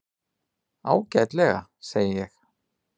Ágætlega, segi ég.